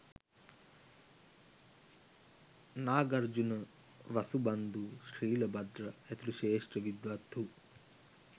Nagarjuna, Vasubandhu, Shilabhadra ඇතුළු ශ්‍රේෂ්ඨ විද්වත්හු